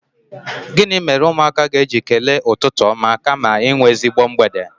Gịnị mere ụmụaka ga-eji kelee ụtụtụ ọma kama inwe ezigbo mgbede?